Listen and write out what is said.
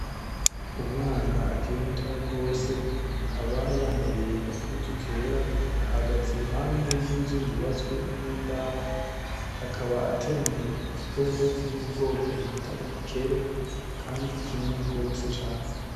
Umwana akiri mutoya gose ,akaba yambaye agahuzu kera ,ahagaze iruhande yinzu yubatswe n'imbaho .Akaba ateruye igikopo Kiri mubwoko bita igikere Kandi kinini gose cane.